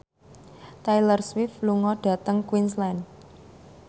Taylor Swift lunga dhateng Queensland